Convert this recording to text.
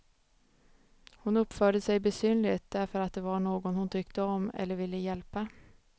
Hon uppförde sig besynnerligt därför att det var någon hon tyckte om eller ville hjälpa.